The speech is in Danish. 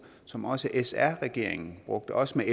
som også sr regeringen brugte også